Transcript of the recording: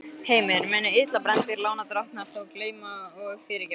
Heimir: Munu illa brenndir lánadrottnar þá gleyma og fyrirgefa?